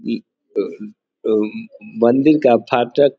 उम्म मंदिर का फाटक --